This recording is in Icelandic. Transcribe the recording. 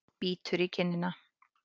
Bítur í kinnina.